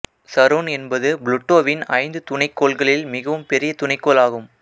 Sharon என்பது புளூட்டோவின் ஐந்து துணைக்கோள்களில் மிகவும் பெரிய துணைக்கோள் ஆகும்